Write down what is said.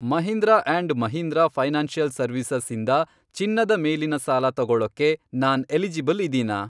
Mahindra and Mahindra financial services ಇಂದ ಚಿನ್ನದ ಮೇಲಿನ ಸಾಲ ತೊಗೊಳಕ್ಕೆ ನಾನ್ ಎಲಿಜಿಬಲ್ ಇದೀನಾ?